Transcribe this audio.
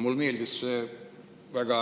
Mulle meeldis väga